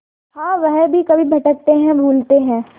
हाँ वह भी कभी भटकते हैं भूलते हैं